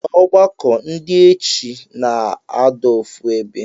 Na ọgbọkọ ndi echi na adọ ofu ebe.